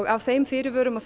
af þeim fyrirvörum og